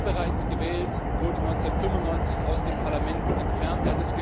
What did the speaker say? Er war bereits gewählt, wurde 1995 aus dem Parlament entfernt.